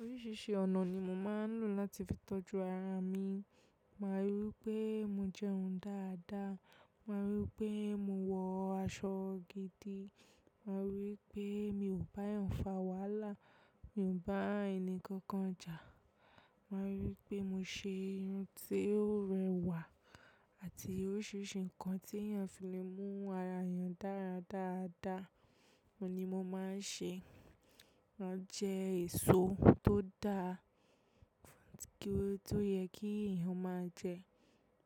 Oríṣiríṣi ọ̀nà ni mo máa ń lò láti fi tọ́jú ara mi. Máa rí wipé mo jẹun dáadáa, máa rí wipé mo wọ aṣọ gidi, máa rí wipé mi ò báyan fà wàhala, mi ò bá ẹni kankan jà. Máa rí wipé mo ṣe irun ti ó rẹwà àti oríṣiríṣi nǹkan tí èèyàn fi lè mú ara èèyàn dára dáadáa oun ni mo máa ń ṣe. Máa jẹ èso tó dáa ft kí, to yẹ kí èèyàn máa jẹ,